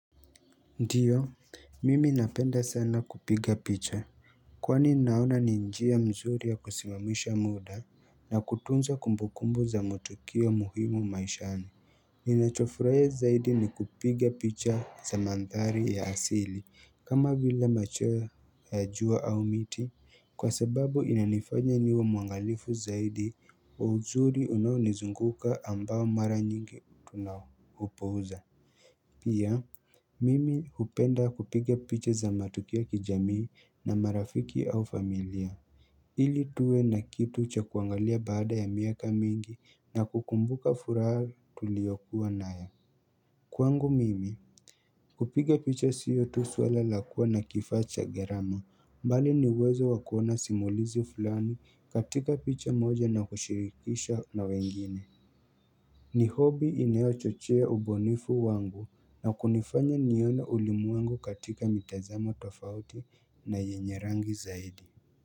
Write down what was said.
Ndiyo mimi napenda sana kupiga picha Kwani naona ni njia mzuri ya kusimamisha muda na kutunza kumbukumbu za matukio muhimu maishani Ninachofurahia zaidi ni kupiga picha za mandhari ya asili kama vile machweo ya jua au miti Kwa sababu inanifanya niwe mwangalifu zaidi wa uzuri unaonizunguka ambao mara nyingi tunaupuuza Pia, mimi hupenda kupiga picha za matukio kijamii na marafiki au familia. Ili tuwe na kitu cha kuangalia baada ya miaka mingi na kukumbuka furaha tuliyokuwa nayo. Kwangu mimi, kupiga picha sio tu swala la kuwa na kifaa cha gharama. Bali na uwezo wa kuona simulizi fulani, katika picha moja na kushirikisha na wengine. Ni hobi inayochochea ubunifu wangu na kunifanya niona elimu wangu katika mitazamo tofauti na yenye rangi zaidi.